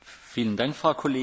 Herr Präsident!